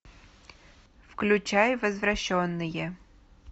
включай возвращенные